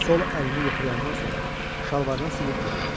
Sol əlini yoxlayandan sonra şalvarına silib qurutladı.